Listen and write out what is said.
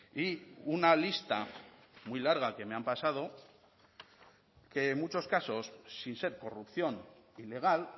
y una lista muy larga que me han pasado que muchos casos sin ser corrupción ilegal